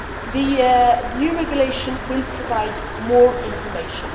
The new regulation will provide more information.